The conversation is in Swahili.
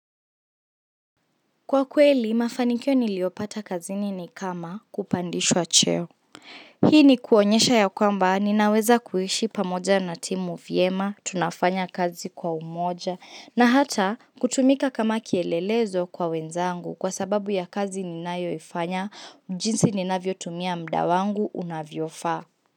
Kwa kweli, mafanikio niliopata kazini ni kama kupandishwa cheo. Hii ni kuonyesha ya kwamba, ninaweza kuishi pamoja na timu vyema, tunafanya kazi kwa umoja, na hata kutumika kama kielelezo kwa wenzangu kwa sababu ya kazi ninayoifanya, jinsi ninavyotumia mda wangu unavyofaa.